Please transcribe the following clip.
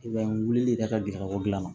I b'a ye wulili ka taa girikabɔ gilan na